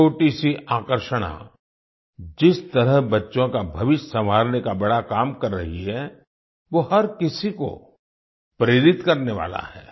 छोटीसी आकर्षणा जिस तरह बच्चों का भविष्य संवारने का बड़ा काम कर रही है वो हर किसी को प्रेरित करने वाला है